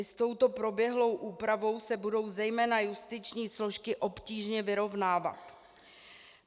I s touto proběhlou úpravou se budou zejména justiční složky obtížně vyrovnávat.